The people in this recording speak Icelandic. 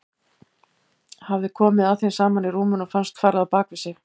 Hafði komið að þeim saman í rúminu og fannst farið á bak við sig.